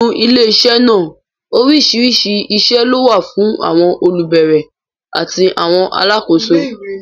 Nínú ilé iṣẹ́ náà, oríṣiríṣi iṣẹ́ ló wà fún àwọn olùbẹ̀rẹ̀ àti àwọn alákòóso